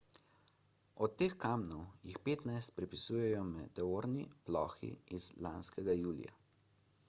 od teh kamnov jih petnajst pripisujejo meteorni plohi iz lanskega julija